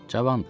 Cavandı.